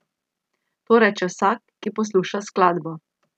To reče vsak, ki posluša skladbo.